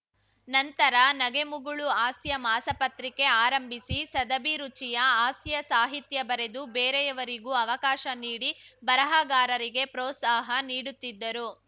ನಂತರ ನಗೆಮುಗುಳು ಹಾಸ್ಯ ಮಾಸಪತ್ರಿಕೆ ಆರಂಭಿಸಿ ಸದಭಿರುಚಿಯ ಹಾಸ್ಯ ಸಾಹಿತ್ಯ ಬರೆದು ಬೇರೆಯವರಿಗೂ ಅವಕಾಶ ನೀಡಿ ಬರಹಗಾರರಿಗೆ ಪ್ರೋತ್ಸಾಹ ನೀಡುತ್ತಿದ್ದರು